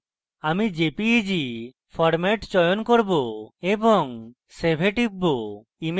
আমি jpeg format চয়ন করব এবং save এ টিপব